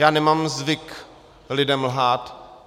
Já nemám zvyk lidem lhát.